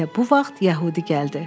Elə bu vaxt yəhudi gəldi.